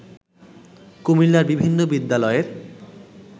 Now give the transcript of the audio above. কুমিল্লার বিভিন্ন বিদ্যালয়ের